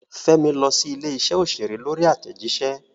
Fẹ́mi lọ sí ilé-iṣẹ́ òṣèré lórí àtẹ̀jíṣẹ́.